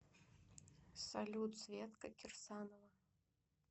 салют светка кирсанова